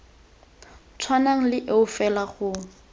tshwanang le eo fela go